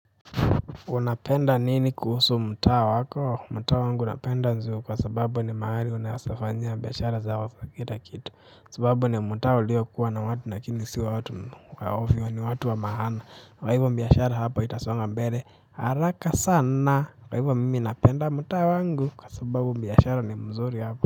Unapenda nini kuusu mtaa wako mtaa wangu napenda zio kwa sababu ni maali unaesa fanyia biashara zakila kitu sababu ni mtaa ulio kuwa na watu nakini si watu waovyo ni watu wa mahana kaw hivo mbiashara hapa itasonga mbele haraka sana kwa hivo mimi napenda mtaa wangu kwa sababu mbiashara ni mzuri hapa.